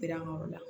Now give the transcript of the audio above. Girin yɔrɔ la